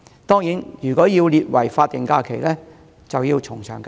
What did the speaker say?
當然，如果要把這一天列為法定假日，則要從長計議。